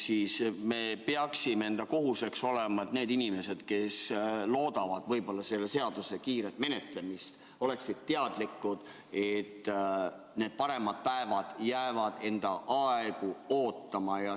Meie kohus peaks olema tagada, et need inimesed, kes loodavad selle seaduseelnõu kiiret menetlemist, oleksid teadlikud sellest, et paremad päevad jäävad enda aega ootama.